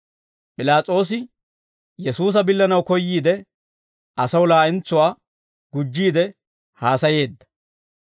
P'ilaas'oosi Yesuusa billanaw koyyiide, asaw laa'entsuwaa gujjiide haasayeedda.